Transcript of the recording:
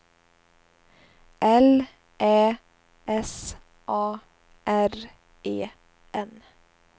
L Ä S A R E N